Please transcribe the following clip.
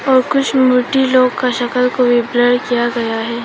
और कुछ मूर्ति लोग का सकल को भी ब्लर किया गया है।